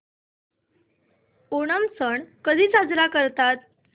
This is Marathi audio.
ओणम सण कधी साजरा करतात